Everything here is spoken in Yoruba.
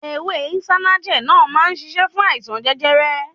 Ewé Isanaje náà má ń ṣiṣẹ́ fún àìsàn jẹjẹrẹ.